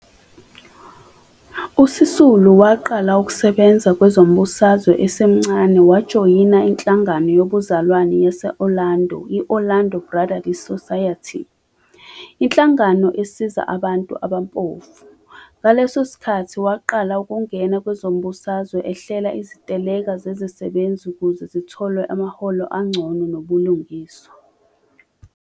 USisulu waqala ukusebenza kwezombusazwe esemncane wajoyina inHlangano yoBuzalwane yase-Orlando, Orlando Brotherly Society, inhlangano esiza abantu abampofu. Ngaleso sikhathi waqala ukungena kwezombusazwe ehlela iziteleka zezisebenzi ukuze zithole amaholo angcono nobulungiswa.